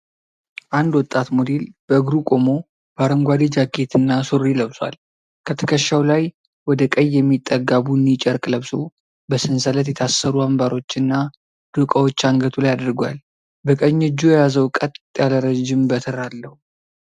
አንድ ወጣት ሞዴል በእግሩ ቆሞ በአረንጓዴ ጃኬት እና ሱሪ ለብሷል። ከትከሻው ላይ ወደ ቀይ የሚጠጋ ቡኒ ጨርቅ ለብሶ በሰንሰለት የታሰሩ አምባሮችና ዶቃዎች አንገቱ ላይ አድርጓል። በቀኝ እጁ የያዘው ቀጥ ያለ ረዥም በትር አለው።